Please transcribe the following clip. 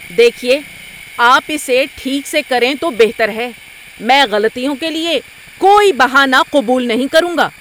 دیکھیے، آپ اسے ٹھیک سے کریں تو بہتر ہے۔ میں غلطیوں کے لیے کوئی بہانہ قبول نہیں کروں گا۔